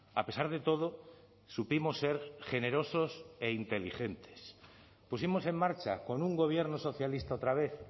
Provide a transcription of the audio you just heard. a pesar de todo supimos ser generosos e inteligentes pusimos en marcha con un gobierno socialista otra vez